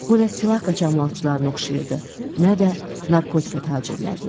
Bu nə silah qaçaqmalçılarına oxşayırdı, nə də narkotika tacirlərinə.